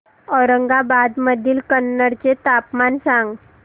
औरंगाबाद मधील कन्नड चे तापमान सांग